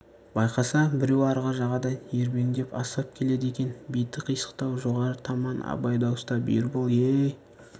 байқаса біреу арғы жағадан ербеңдеп асығып келеді екен беті қисықтау жоғары таман абай дауыстап ербол е-ей